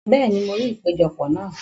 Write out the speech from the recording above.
Bẹ́ẹ̀ni, mo rí ìpéjọpọ̀ náà.